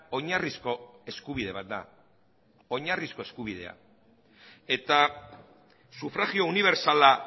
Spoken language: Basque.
oinarrizko eskubide bat da oinarrizko eskubidea eta sufragio unibertsala